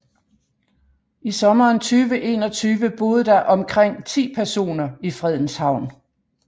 I sommeren 2021 boede der omkring ti personer i Fredens Havn